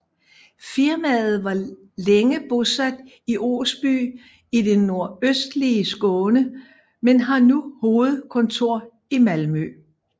Firmaet var længe bosat i Osby i det nordøstlige Skåne men har nu hovedkontor i Malmö